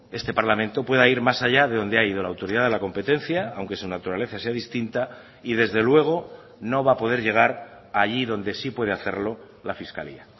este parlamento pueda ir más allá de donde ha ido la autoridad de la competencia aunque su naturaleza sea distinta y desde luego no va a poder llegar allí donde sí puede hacerlo la fiscalía